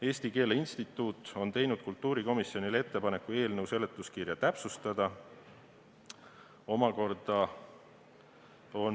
Eesti Keele Instituut on teinud kultuurikomisjonile ettepaneku eelnõu seletuskirja täpsustada.